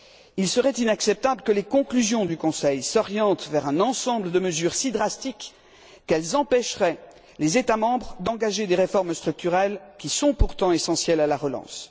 Il serait inacceptable que les conclusions du Conseil s'orientent vers un ensemble de mesures si drastiques qu'elles empêcheraient les États membres d'engager des réformes structurelles, qui sont pourtant essentielles à la relance.